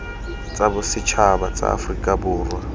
tsa bosetšhaba tsa aforika borwa